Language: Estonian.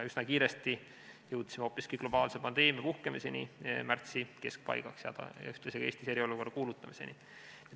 Üsna kiiresti, märtsi keskpaigas, jõudsime hoopiski globaalse pandeemia puhkemiseni ja ühtlasi Eestis eriolukorra väljakuulutamiseni.